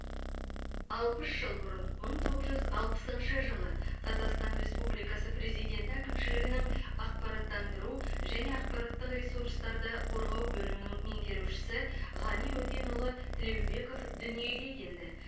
алпыс жыл бұрын мың тоғыз жүз алпысыншы жылы қазақстан республикасы президенті әкімшілігінің ақпараттандыру және ақпараттық ресурстарды қорғау бөлімінің меңгерушісі ғани өтенұлы тілеубеков дүниеге келді